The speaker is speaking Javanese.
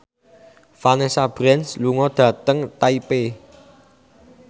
Vanessa Branch lunga dhateng Taipei